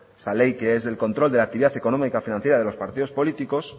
esta ley que es del control de la actividad económica financiera de los partidos políticos